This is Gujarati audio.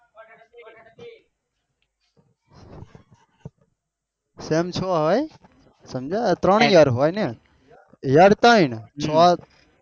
Sem હો સમજ્યા વાત ને ત્રણ year હોય ન year હા